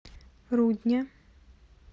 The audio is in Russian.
рудня